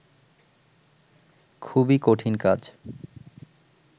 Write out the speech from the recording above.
খুবই কঠিন কাজ